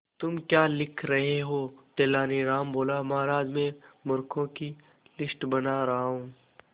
तुम क्या लिख रहे हो तेनालीराम बोला महाराज में मूर्खों की लिस्ट बना रहा हूं